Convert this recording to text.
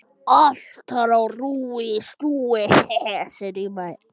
Allt þar á rúi og stúi.